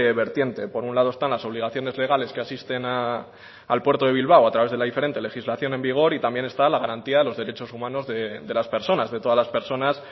vertiente por un lado están las obligaciones legales que asisten al puerto de bilbao a través de la diferente legislación en vigor y también está la garantía de los derechos humanos de las personas de todas las personas